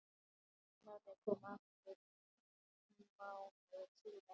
Snorri kom aftur mánuði síðar.